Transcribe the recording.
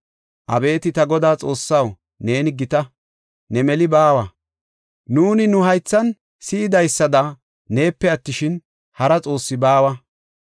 “Abeeti Ta Godaa Xoossaw, neeni gita. Ne meli baawa; nuuni nu haythan si7idaysada neepe attishin, hara xoossi baawa.